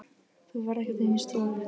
Þú ferð ekkert inn í stofu!